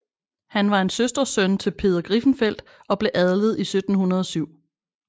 Han var en søstersøn til Peder Griffenfeldt og blev adlet 1707